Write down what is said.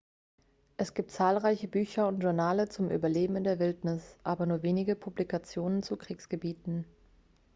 es gibt zahlreiche bücher und journale zum überleben in der wildnis aber nur wenige publikationen zu kriegsgebieten